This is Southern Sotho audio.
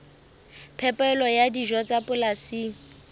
phepelo ya dijo tsa polasing